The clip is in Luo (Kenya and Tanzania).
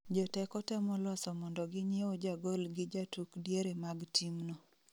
Joteko temo loso mondo ginyieu jagol gi jatuk diere mag timno